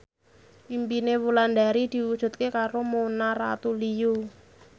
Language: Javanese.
impine Wulandari diwujudke karo Mona Ratuliu